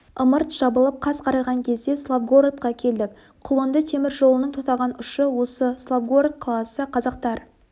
ымырт жабылып қас қарайған кезде славгородқа келдік құлынды темір жолының тоқтаған ұшы осы славгород қаласы қазақтар